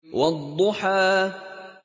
وَالضُّحَىٰ